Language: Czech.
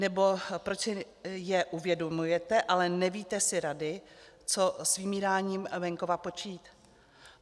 Nebo proč si je uvědomujete, ale nevíte si rady, co s vymíráním venkova počít?